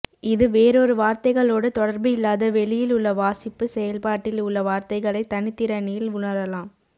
இது வேறொரு வார்த்தைகளோடு தொடர்பு இல்லாத வெளியில் உள்ள வாசிப்பு செயல்பாட்டில் உள்ள வார்த்தைகளை தனித்திறனில் உணரலாம்